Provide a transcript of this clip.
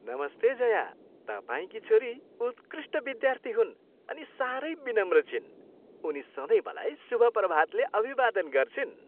नमस्ते जया, तपाईँकी छोरी उत्कृष्ट विद्यार्थी हुन् अनि साह्रै विनम्र छिन्। उनी सधैँ मलाई शुभ प्रभातले अभिवादन गर्छिन्।